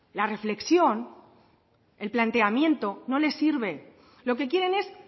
la reflexión el planteamiento no les sirve lo que quieren es